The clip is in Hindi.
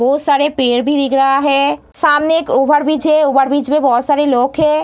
बहुत सारे पेड़ भी दिख रहा है सामने एक ओवरब्रिज है ओवरब्रिज में बहुत सारे लोग है।